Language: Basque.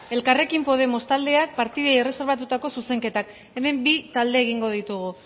elkarrekin podemos taldeak partidei erreserbatutako zuzenketak hemen bi talde egingo ditugu